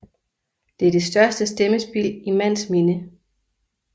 Det er det største stemmespild i mands minde